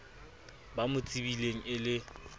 ba mo tsebileng e le